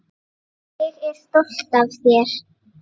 Ég er stolt af þér.